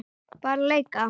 Bara leika.